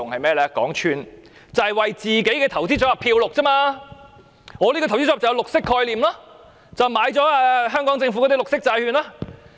便是為自己的投資組合"染綠"，說我這個投資組合具綠色概念，因為購買了香港政府的綠色債券。